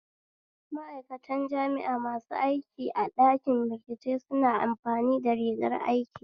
Ma'aikantan jami'a masu aiki a ɗanki bincike suna amfani da rigar aiki